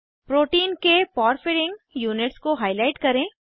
protein के porphyrin units को highlight करें